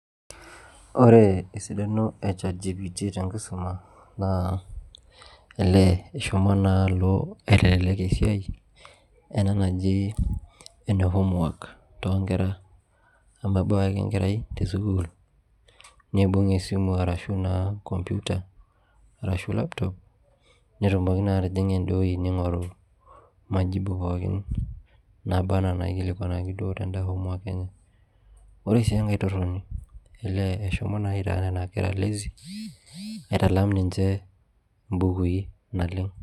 Ore esidano e Chat gpt tenkisoma naa elee eshomo alo aitelelek esia ena naji ene homework too nkera ekebau ake enkerai te sukuul neeibung' esimu arashu naa computer arashu laptop netumoki naa atijing'a ede wuoji neing'oru majibu pookin naaba enaa inaikilikuanaki naa te daa homework enye ore sii enkai torroni ee eshomo naa aitaa nena kera lazy aitalam ninje ibukui naleng'